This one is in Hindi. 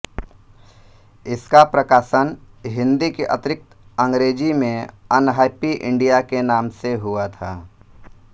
इसका प्रकाशन हिंदी के अतिरिक्त अंग्रेजी में अनहैप्पी इंडिया के नाम से हुआ था